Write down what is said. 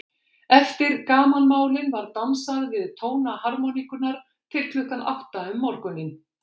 Eftir gamanmálin var dansað við tóna harmóníkunnar til klukkan átta um morguninn.